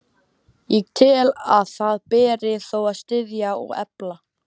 Ég tel, að það beri þó að styðja og efla,